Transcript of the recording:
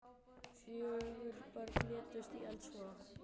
Fjögur börn létust í eldsvoða